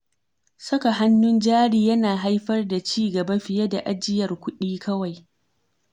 Saka hannun jari yana haifar da ci gaba fiye da ajiyar kuɗi kawai.